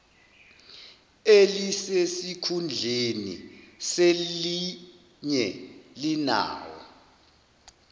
elisesikhundleni selinye linawo